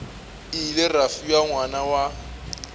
ile ra fiwa ngwana wa